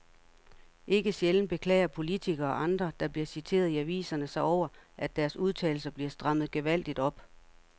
Ikke sjældent beklager politikere og andre, der bliver citeret i aviserne sig over, at deres udtalelser bliver strammet gevaldigt op.